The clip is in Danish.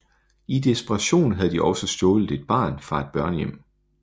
I desperation havde de også stjålet et barn fra en børnehjem